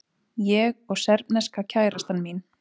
Ég og serbneska kærastan mín.